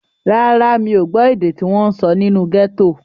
Rárá, mi ò gbọ́ èdè tí wọ́n sọ nínú gẹ́tò.